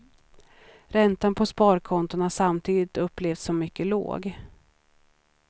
Räntan på sparkonton har samtidigt upplevts som mycket låg.